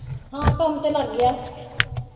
ਹਾਂ ਕੰਮ ਤੇ ਲੱਗ ਗਿਆ